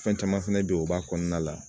Fɛn caman fɛnɛ be ye u b'a kɔnɔna la